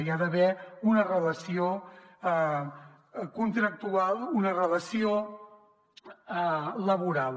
i hi ha d’haver una relació contractual una relació laboral